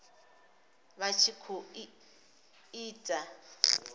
vha tshi khou i ita